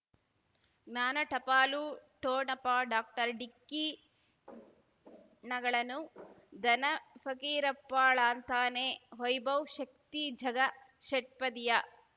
ಜ್ಞಾನ ಟಪಾಲು ಠೋಣಪ ಡಾಕ್ಟರ್ ಢಿಕ್ಕಿ ಣಗಳನು ಧನ ಫಕೀರಪ್ಪ ಳಂತಾನೆ ವೈಭವ್ ಶಕ್ತಿ ಝಗಾ ಷಟ್ಪದಿಯ